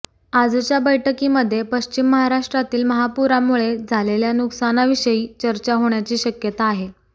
आजच्या बैठकीमध्ये पश्चिम महाराष्ट्रातील महापुरामुळे झालेल्या नुकसानाविषयी चर्चा होण्याची शक्यता आहे